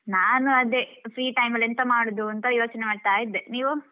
ನಾನು ಅದೇ free time ಅಲ್ಲಿ ಎಂತ ಮಾಡುದೂ ಅಂತ ಯೋಚನೆ ಮಾಡ್ತಾ ಇದ್ದೆ. ನೀವು?